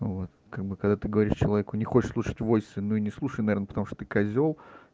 вот как бы когда ты говоришь человеку не хочешь слушать войс ну и не слушай наверно потому что ты козел